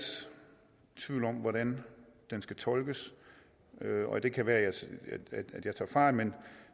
tvivl om hvordan det skal tolkes og det kan være at jeg tager fejl men